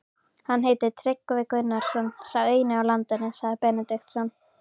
Hann heitir Tryggvi Gunnarsson, sá eini á landinu, sagði Benediktsson.